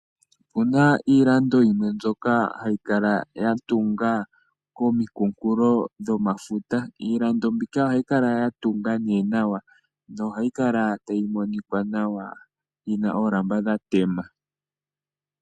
Okuna iilando yimwe mbyoka hayi kala yatunga kominkunkulo dhomafuta, iilando mbika ohayi kala yatunga nee nawa na ohayi kala tayi monika nawa, yina oolamba dhatema .